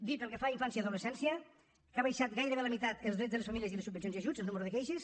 dir pel que fa a infància i adolescència que han baixat gairebé a la meitat en els drets de les famílies i les subvencions i ajuts el nombre de queixes